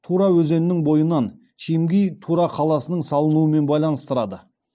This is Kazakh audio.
тура өзенінің бойынан чимги тура қаласының салынуымен байланыстырады